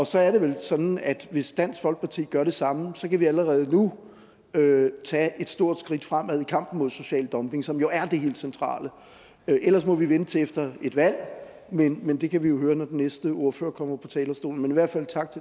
så er det vel sådan at hvis dansk folkeparti gør det samme kan vi allerede nu tage et stort skridt fremad i kampen mod social dumping som jo er det helt centrale ellers må vi vente til efter et valg men men det kan vi jo høre når den næste ordfører kommer på talerstolen men i hvert